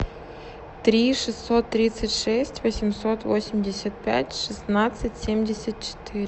три шестьсот тридцать шесть восемьсот восемьдесят пять шестнадцать семьдесят четыре